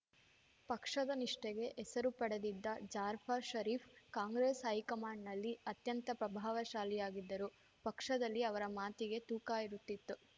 ಪಕ್ಷದ ನಿಷ್ಠೆಗೆ ಹೆಸರು ಪಡೆದಿದ್ದ ಜಾರ್ಫ ಷರೀಫ್‌ ಕಾಂಗ್ರೆಸ್‌ ಹೈಕಮಾಂಡ್‌ನಲ್ಲಿ ಅತ್ಯಂತ ಪ್ರಭಾವಶಾಲಿಯಾಗಿದ್ದರು ಪಕ್ಷದಲ್ಲಿ ಅವರ ಮಾತಿಗೆ ತೂಕ ಇರುತ್ತಿತ್ತು